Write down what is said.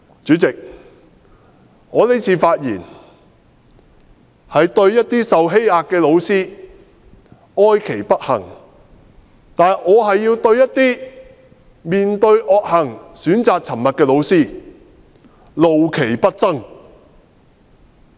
主席，我這次發言是對一些受欺壓的老師哀其不幸，但是，我還要對一些面對惡行選擇沉默的老師怒其不爭。